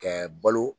Kɛ balo